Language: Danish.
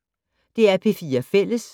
DR P4 Fælles